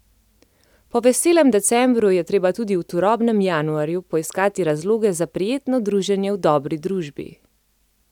Po veselem decembru je treba tudi v turobnem januarju poiskati razloge za prijetno druženje v dobri družbi.